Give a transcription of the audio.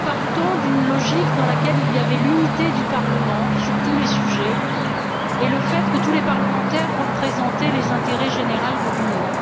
Nous partons d'une logique dans laquelle il y avait unité du Parlement sur tous les sujets et le fait que tous les parlementaires représentaient l'intérêt général de l'Union.